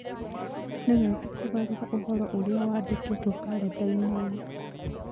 Nĩ wega kũgarũra ũhoro ũrĩa wandĩkĩtwo kalenda-inĩ ĩyo